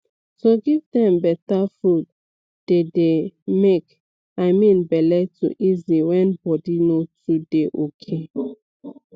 to give dem better food dey dey make i mean bele to easy when body no too dey ok